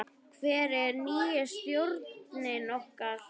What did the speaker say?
Hver er nýi stjórinn okkar?